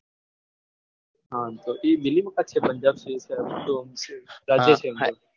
હા biling park છે એ પંજાબનો રાજ્ય કેન્દ્ર